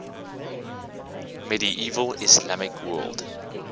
medieval islamic world